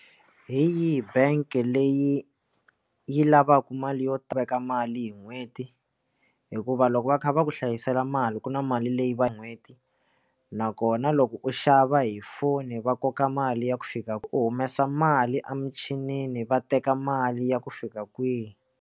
Hi yihi bank leyi yi lavaka mali yo tiveka mali hi n'hweti hikuva loko va kha va ku hlayisela mali ku na mali leyi va n'hweti nakona loko u xava hi foni va koka mali ya ku fika ku u humesa mali a michinini va teka mali ya ku fika kwihi.